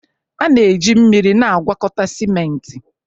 A na-eji mmiri na-agwakọta simenti.